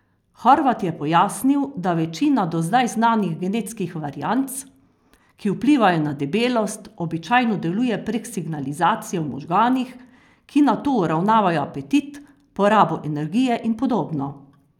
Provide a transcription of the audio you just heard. Horvat je pojasnil, da večina do zdaj znanih genetskih varianc, ki vplivajo na debelost, običajno deluje prek signalizacije v možganih, ki nato uravnavajo apetit, porabo energije in podobno.